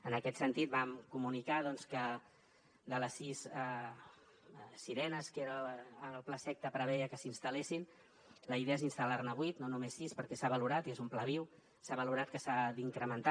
en aquest sentit vam comunicar doncs que de les sis sirenes que el plaseqta preveia que s’instal·lessin la idea és instal·lar ne vuit no només sis perquè s’ha valorat i és un pla viu s’ha valorat que s’ha d’incrementar